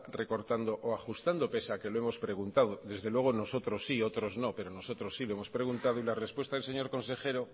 recortando o ajustando pese a que lo hemos preguntado desde luego nosotros sí otros no pero nosotros sí lo hemos preguntado y la respuesta del señor consejero